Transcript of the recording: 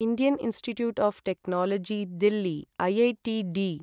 Indian institute of technology Delhi IITD